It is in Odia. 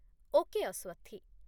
ଓକେ, ଅସ୍ୱଥି